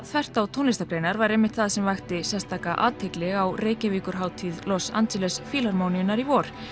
þvert á tónlistargreinar er einmitt það sem vakti sérstaka athygli á Los Angeles Fílharmóníunnar í vor